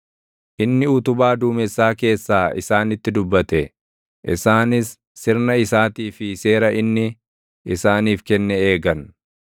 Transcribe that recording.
Inni utubaa duumessaa keessaa isaanitti dubbate; isaanis sirna isaatii fi seera inni isaaniif kenne eegan.